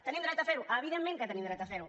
tenim dret a fer ho evidentment que tenim dret a fer ho